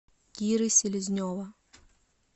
киры селезнева